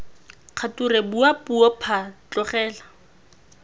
kgature bua puo phaa tlogela